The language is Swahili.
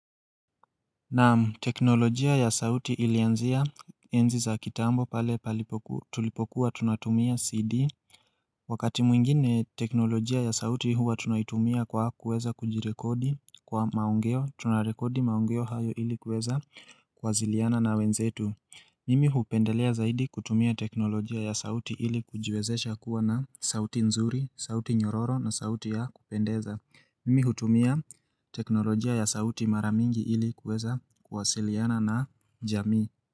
Naam teknolojia ya sauti ilianzia enzi za kitambo pale palipokuwa tulipokuwa tunatumia cd wakati mwingine teknolojia ya sauti huwa tunaitumia kwa kuweza kujirekodi kwa maongeo tunarekodi maongeo hayo ilikuweza kuwasiliana na wenzetu mimi hupendelea zaidi kutumia teknolojia ya sauti ili kujiwezesha kuwa na sauti nzuri, sauti nyororo na sauti ya kupendeza Mimi hutumia teknolojia ya sauti mara mingi ili kuweza kuwasiliana na jamii.